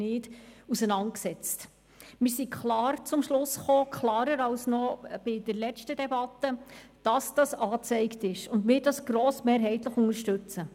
Wir sind klar zum Schluss gekommen – klarer noch als bei der letzten Debatte –, dass dies angezeigt ist und wir das grossmehrheitlich unterstützen.